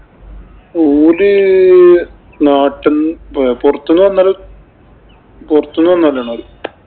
ഓല് നാട്ടിന്ന് പൊറത്ത് നിന്ന് വന്നവര് പൊറത്ത് നിന്ന് വന്നവരാണ് അവര്.